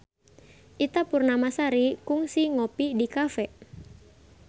Ita Purnamasari kungsi ngopi di cafe